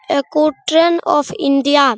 एगो train of India --